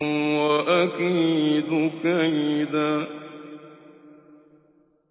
وَأَكِيدُ كَيْدًا